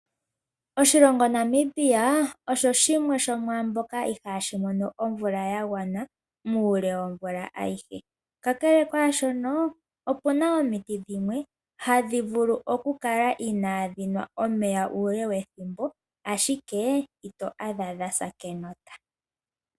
Oshilongo Namibia, osho shimwe shomaamboka ihaashi mono omvula ya gwana muule womvula ayihe. Kakele kwaashono, opu na omiti dhimwe hadhi vulu okukala inaadhi nwa omeya uule wethimbo, ashike ito adha dha sa kenota.